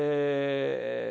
É...